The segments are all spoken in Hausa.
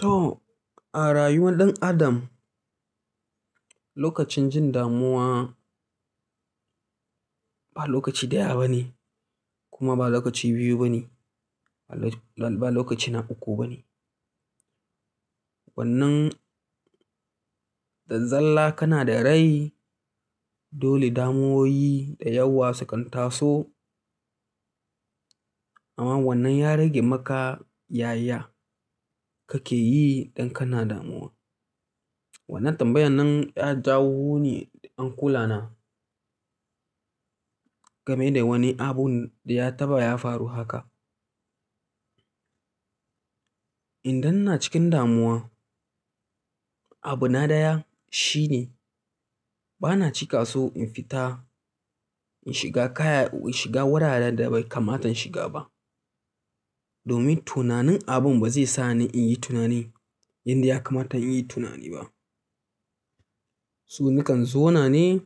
To, a rayuwar ɗan adam lokacin jin damuwa ba lokaci ɗaya ba ne kuma ba lokaci biyu ba ne ba lokaci na uku ba ne. Wannan zalla kana da rai dole damuwoyi da yawa sukan taso. Amma wannan ya rage maka yaya kake yi in kana damuwa. Wannan tambayan nan ya jawo ni in kula game da wani abun da ya taɓa ya faru haka. Idan ina cikin damuwa, abu na ɗaya shine bana cika so in fita in shiga kaya in shiga wuraren da bai kamata in shiga ba. Domin tunanin abun ba zai sa ni in yi tunani yanda ya kamata in yi tunani ba. To nakan zo na ne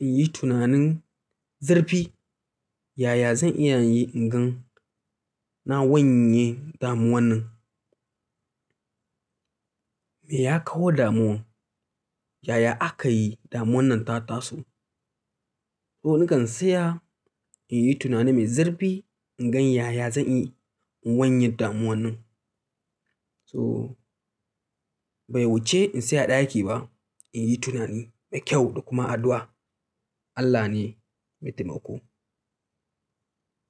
in yi tunanin zurfi yaya zan iya in gan na wanye damuwan nan. Me ya kawo damuwan, yaya aka yi damuwan nan ta taso. Ko nakan tsaya in yi tunani mai zurfi in gan yaya zan iya in wanye damuwan nan. So bai wuce in tsaya a ɗaki ba in yi tunani mai kyau da kuma addu'a. Allah ne mai taimako.